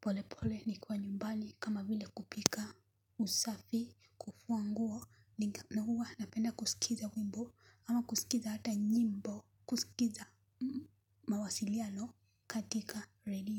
polepole ni kwa nyumbani kama vile kupika, usafi fua nguo. Huwa napenda kusikiza wimbo ama kusikiza hata nyimbo kusikiza mawasiliano katika redio.